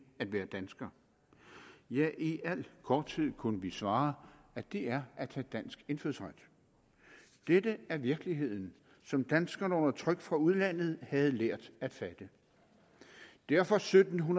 at være dansker ja i al korthed kunne vi svare at det er at have dansk indfødsret dette er virkeligheden som danskerne under tryk fra udlandet havde lært at fatte derfor sytten